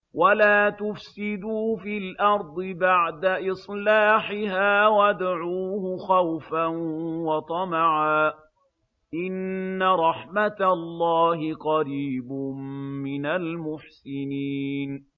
وَلَا تُفْسِدُوا فِي الْأَرْضِ بَعْدَ إِصْلَاحِهَا وَادْعُوهُ خَوْفًا وَطَمَعًا ۚ إِنَّ رَحْمَتَ اللَّهِ قَرِيبٌ مِّنَ الْمُحْسِنِينَ